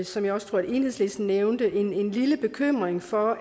som jeg tror enhedslisten også nævnte en lille bekymring for